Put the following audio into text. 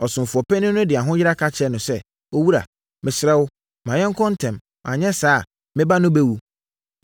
Ɔsomfoɔ panin no de ahoyera ka kyerɛɛ no sɛ, “Owura, mesrɛ wo, ma yɛnkɔ ntɛm, anyɛ saa a, me ba no bɛwu.”